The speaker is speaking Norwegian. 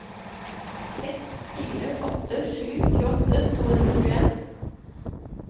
seks fire åtte sju tjueåtte to hundre og tjueen